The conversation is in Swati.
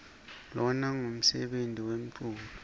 lona ngumsebeni nemculo